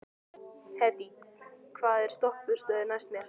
Hedí, hvaða stoppistöð er næst mér?